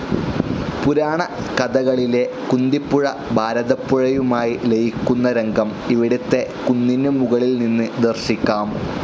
പുരാണ കഥകളിലെ കുന്തിപ്പുഴ ഭാരതപ്പുഴയുമായി ലയിക്കുന്ന രംഗം ഇവിടത്തെ കുന്നിനു മുകളിൽ നിന്ന് ദർശിക്കാം.